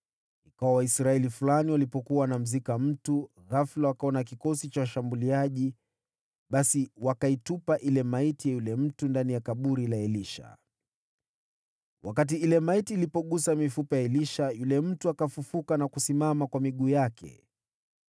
Ikawa Waisraeli fulani walipokuwa wanamzika mtu, ghafula wakaona kikosi cha washambuliaji, basi wakaitupa ile maiti ya yule mtu ndani ya kaburi la Elisha. Wakati ile maiti ilipogusa mifupa ya Elisha, yule mtu akafufuka na kusimama kwa miguu yake.